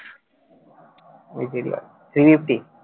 three fifty